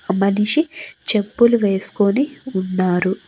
ఆ మనిషి చెప్పులు వేసుకొని ఉన్నారు.